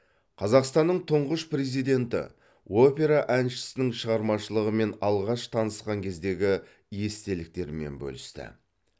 қазақстанның тұңғыш президенті опера әншісінің шығармашылығымен алғаш танысқан кездегі естеліктермен бөлісті